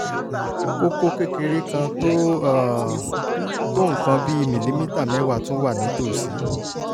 kókó kékeré kan tó um tó nǹkan bíi mìlímítà mẹ́wàá tún wà nítòsí"